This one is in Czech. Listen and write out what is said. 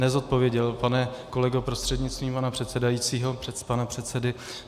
Nezodpověděl, pane kolego prostřednictvím pana předsedajícího, pana předsedy.